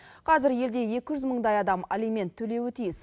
қазір елде екі жүз мыңдай адам алимент төлеуі тиіс